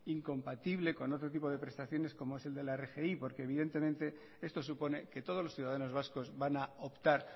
incompatible con otro tipo de prestaciones como es el de la rgi porque evidentemente esto supone que todos los ciudadanos vascos van a optar